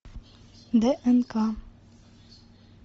днк